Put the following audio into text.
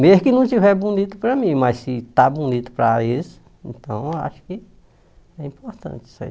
Mesmo que não estiver bonito para mim, mas se está bonito para eles, então acho que é importante isso aí.